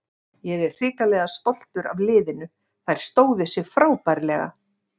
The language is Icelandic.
Ég er hrikalega stoltur af liðinu, þær stóðu sig frábærlega.